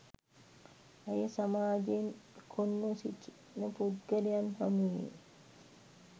ඇය සමාජයෙන් කොන්ව සිටින පුද්ගලයන් හමුවේ